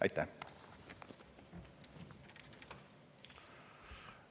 Aitäh!